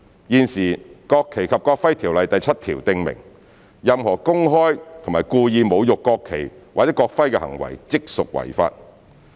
現時，《國旗及國徽條例》第7條訂明任何公開及故意侮辱國旗或國徽的行為，即屬違法。